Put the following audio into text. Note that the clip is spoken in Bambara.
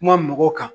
Kuma mɔgɔw kan